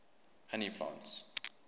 honey plants